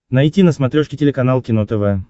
найти на смотрешке телеканал кино тв